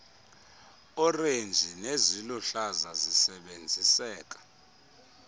orenji neziluhlaza zisebenziseka